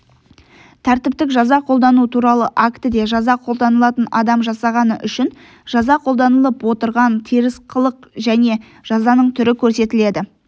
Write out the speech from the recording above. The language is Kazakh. тәртіптік жаза қолдану туралы актіде жаза қолданылатын адам жасағаны үшін жаза қолданылып отырған теріс қылық және жазаның түрі көрсетіледі